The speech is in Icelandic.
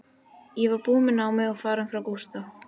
Ég var búin með námið og farin frá Gústa.